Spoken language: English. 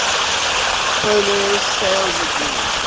polaris sales agreement